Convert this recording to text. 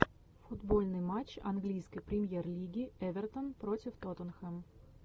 футбольный матч английской премьер лиги эвертон против тоттенхэм